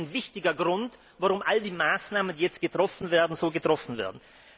Das ist doch ein wichtiger Grund, warum all die Maßnahmen, die jetzt getroffen werden, so getroffen werden.